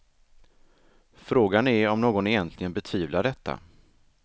Frågan är om någon egentligen betvivlar detta.